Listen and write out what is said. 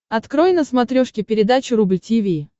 открой на смотрешке передачу рубль ти ви